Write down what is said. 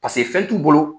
paseke fɛn t'u bolo